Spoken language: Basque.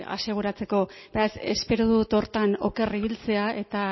aseguratzeko eta espero dut horretan oker ibiltzea eta